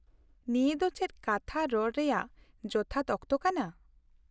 -ᱱᱤᱭᱟᱹ ᱫᱚ ᱪᱮᱫ ᱠᱟᱛᱷᱟ ᱨᱚᱲ ᱨᱮᱭᱟᱜ ᱡᱚᱛᱷᱟᱛ ᱚᱠᱛᱚ ᱠᱟᱱᱟ ?